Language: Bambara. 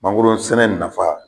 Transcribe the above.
Mangoro sɛnɛ nafa.